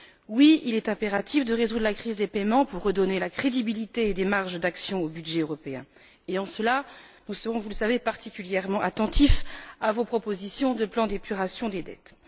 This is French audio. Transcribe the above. Oui, il est impératif de résoudre la crise des paiements pour redonner de la crédibilité et des marges d'action au budget européen, et en cela nous serons vous le savez particulièrement attentifs à vos propositions de plan d'épuration des dettes.